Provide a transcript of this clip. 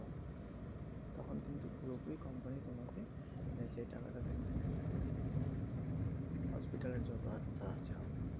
তখন কিন্তু পুরোপুরি company তোমাকে এই টাকা টা দিবে hospital এর যত যা হবে।